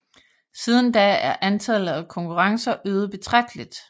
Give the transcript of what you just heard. Siden da er antallet af konkurrencer øget betragteligt